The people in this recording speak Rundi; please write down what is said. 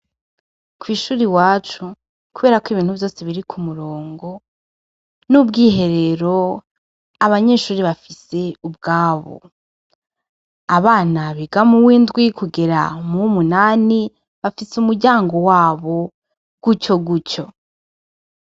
Kwi shure iwacu kubera ko ibintu vyose biri ku murongo n' ubwiherero abanyeshure bafise ubwabo abana biga muw' indwi kugera muw' umunani bafise umuryango wabo gutyo gutyo.